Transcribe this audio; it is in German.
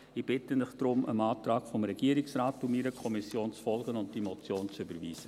Ich bitte Sie darum, dem Antrag des Regierungsrates und meiner Kommission zu folgen und diese Motion zu überweisen.